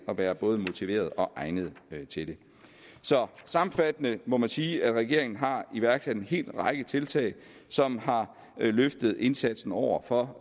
at være både motiverede og egnede til det så sammenfattende må man sige at regeringen har iværksat en hel række tiltag som har løftet indsatsen over for